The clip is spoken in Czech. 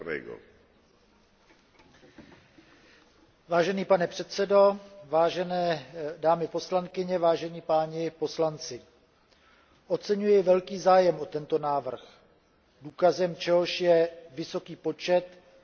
Vážený pane předsedo, vážené dámy poslankyně, vážení páni poslanci, oceňuji velký zájem o tento návrh, důkazem čehož je vysoký počet pozměňovacích návrhů, které vyvolal.